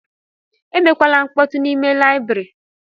Emekwala nkpọtu n'ime layibiri!